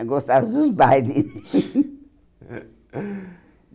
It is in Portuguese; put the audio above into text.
Eu gostava dos bailes.